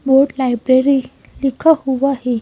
Board library लिखा हुआ है।